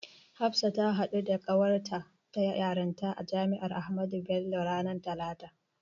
Hafsa ta haɗu da ƙawarta ta yarinta a Jami'ar Ahmadu Bello ranar talata.